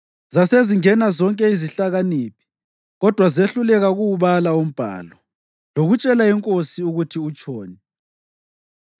Zasezingena zonke izihlakaniphi. Kodwa zehluleka ukuwubala umbhalo lokutshela inkosi ukuthi utshoni.